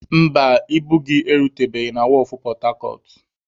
Mba, ibu gị erutebeghi na wọọfụ pọtacọt.